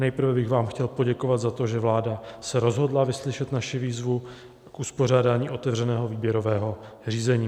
Nejprve bych vám chtěl poděkovat za to, že vláda se rozhodla vyslyšet naši výzvu k uspořádání otevřeného výběrového řízení.